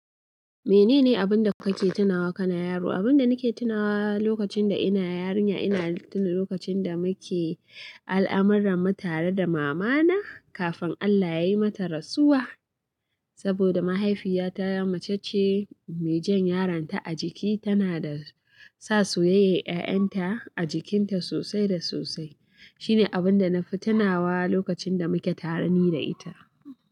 Menene abun da kake tunawa kana yaro? Abun da nake tunawa lokacin da ina yarinya, ina tuna lokacin da muke al'amuran mu tare da mama na kafin Allah yayi mata rasuwa. Saboda mahaifiyata mace ce mai jan yaron ta a jiki tana da sa soyayyar ƴa'ƴanta a jikinta sosai da sosai. Shine abunda nafi tunawa lokacin da muke tare ni da ita.